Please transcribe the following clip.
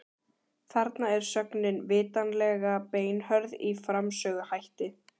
Þarna er sögnin vitanlega beinhörð í framsöguhætti.